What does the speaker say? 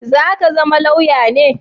Za ka zama lauya ne?